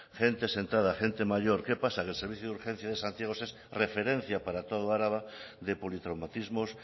gente sentada gente mayor qué pasa que el servicio de urgencias de santiago es referencia para todo álava de politraumatismos